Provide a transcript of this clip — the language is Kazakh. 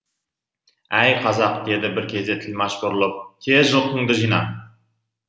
әй қазақ деді бір кезде тілмаш бұрылып тез жылқыңды жина